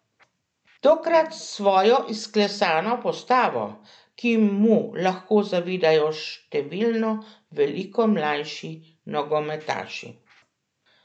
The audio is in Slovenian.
Tokrat s svojo izklesano postavo, ki mu lahko zavidajo številno veliko mlajši nogometaši.